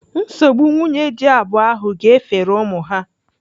Nsogbu nwunye dị abụọ ahụ ga-efere ụmụ ha.